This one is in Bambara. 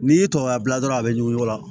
N'i y'i tɔɔrɔ a la dɔrɔn a bɛ ɲugu o la